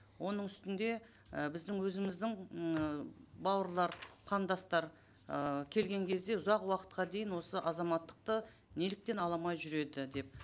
оның үстінде і біздің өзіміздің ыыы бауырлар қандастар ыыы келген кезде ұзақ уақытқа дейін осы азаматтықты неліктен ала алмай жүреді деп